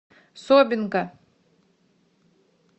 собинка